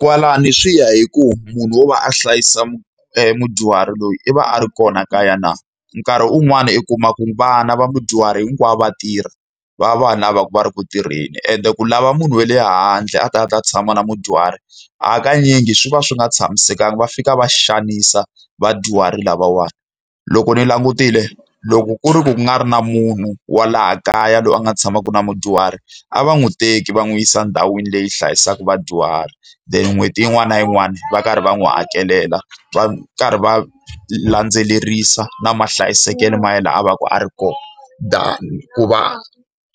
Kwalano swi ya hi ku munhu wo va a hlayisa mudyuhari loyi i va a ri kona kaya na. Nkarhi un'wana u kuma ku vana va mudyuhari hinkwavo va tirha, va va lava va ri ku tirheni ende ku lava munhu we le handle a ta a ta tshama na mudyuhari hakanyingi swi va swi nga tshamisekanga. Va fika va xanisa vadyuhari lavawani. Loko ni langutile, loko ku ri ku nga ri na munhu wa laha kaya loyi a nga tshamaka na mudyuhari, a va n'wi teki va n'wi yisa endhawini leyi hlayisaka vadyuhari then n'hweti yin'wana na yin'wana va karhi va n'wi hakelela. Va karhi va landzelerisa na mahlayisekelo ma yelana ya laha a va ka a ri kona. Than ku va